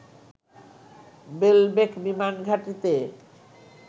বেলবেক বিমান ঘাঁটিতে